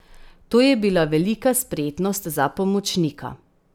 To je bila velika spretnost za pomočnika.